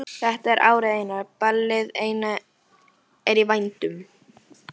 Þetta er árið eina, ballið eina er í vændum.